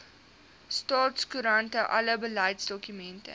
staatskoerant alle beleidsdokumente